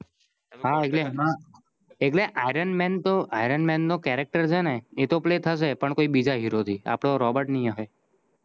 હા એટલે એમાં એટલે ironman તો ironman નો characters છે ને એતો play થસે પણ બીજા હીરો થી આપડો robert નહિ આવે